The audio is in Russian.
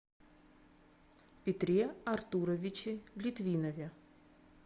петре артуровиче литвинове